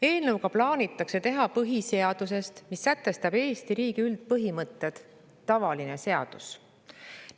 Eelnõuga plaanitakse teha põhiseadusest, mis sätestab Eesti riigi üldpõhimõtted, tavaline seadus.